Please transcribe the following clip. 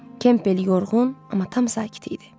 Kempel yorğun, amma tam sakit idi.